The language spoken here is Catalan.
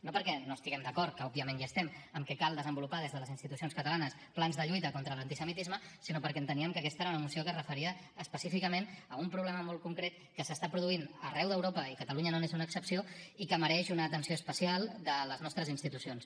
no perquè no estiguem d’acord que òbviament hi estem en que cal desenvolupar des de les institucions catalanes plans de lluita contra l’antisemitisme sinó perquè enteníem que aquesta era una moció que es referia específicament a un problema molt concret que s’està produint arreu d’europa i catalunya no n’és una excepció i que mereix una atenció especial de les nostres institucions